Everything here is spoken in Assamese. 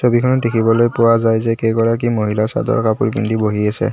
ছবিখনত দেখিবলৈ পোৱা যায় যে কেইগৰাকী মহিলা চাদৰ কাপোৰ পিন্ধি বহি আছে।